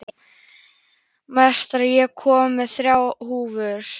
Marta, ég kom með þrjátíu húfur!